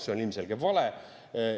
See on ilmselge vale.